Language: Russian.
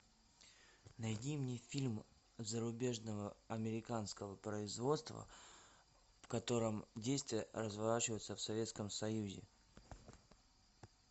найди мне фильм зарубежного американского производства в котором действия разворачиваются в советском союзе